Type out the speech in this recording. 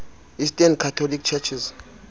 eastern catholic churches